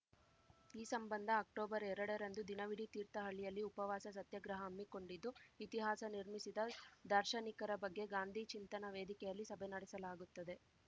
ಈ ಸಂಬಂಧ ಅಕ್ಟೋಬರ್‌ ಎರಡರಂದು ದಿನವಿಡೀ ತೀರ್ಥಹಳ್ಳಿಯಲ್ಲಿ ಉಪವಾಸ ಸತ್ಯಾಗ್ರಹ ಹಮ್ಮಿಕೊಂಡಿದ್ದು ಇತಿಹಾಸ ನಿರ್ಮಿಸಿದ ದಾರ್ಶನಿಕರ ಬಗ್ಗೆ ಗಾಂಧೀ ಚಿಂತನಾ ವೇದಿಕೆಯಲ್ಲಿ ಸಭೆ ನಡೆಸಲಾಗುತ್ತದೆ